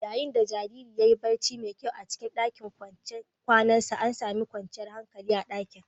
Yayin da jaririn ya yi barci mai kyau a cikin ɗakin kwanansa, an sami kwanciyar hankali a dakin